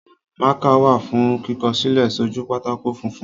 Mákà wà fún kíkọṣẹ́ sójú pátákó funfun.